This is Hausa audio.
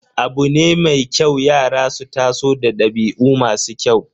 Abu ne mai kyau yara su taso da dabi'u masu kyau.